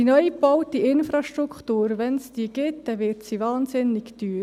Die neugebaute Infrastruktur, wenn es sie gibt, wird wahnsinnig teuer.